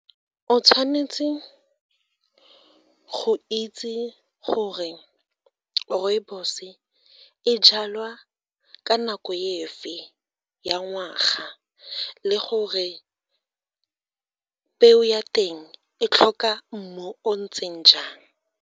O tshwanetse go itse gore rooibos-e jalwa ka nako efe ya ngwaga le gore peo ya teng e tlhoka mmu o ntseng jang.